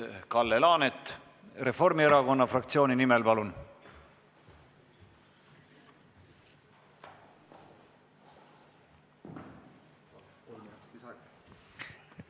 Kalle Laanet Reformierakonna fraktsiooni nimel, palun!